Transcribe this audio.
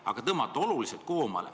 Aga võiks tõmmata oluliselt koomale.